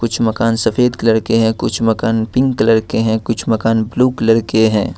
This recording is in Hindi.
कुछ मकान सफेद कर के हैं कुछ मकान पिंक कलर के है कुछ मकान ब्लू कलर के हैं।